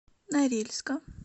норильска